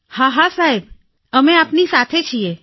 હા હા સાહેબ અમે આપની સાથે છીએ